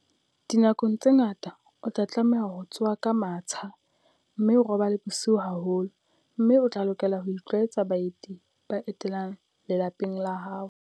Dinako tse ngata o tla tlameha ho tsoha ka matsha mme o robale bosiu haholo, mme o tla lokela ho itlwaetsa baeti ba etelang lelapa la hao.